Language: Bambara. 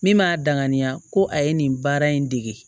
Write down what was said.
Min m'a danganiya ko a ye nin baara in dege